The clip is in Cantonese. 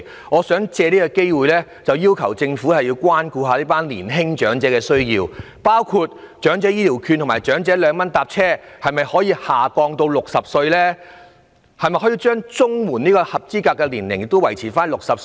我想借此機會要求政府關顧一下年輕長者的需要，包括可否把長者醫療券及長者兩元乘車優惠的合資格年齡下調至60歲？